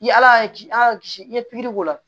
I ala y'a kisi a ka kisi i ye pikiri k'o la